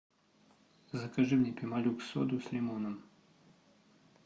закажи мне пемолюкс соду с лимоном